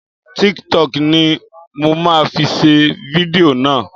Tiktọkì ni mo ma fi ṣe fidió náà.